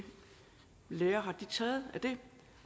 lære har taget det